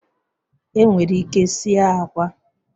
Enwere ike sie akwa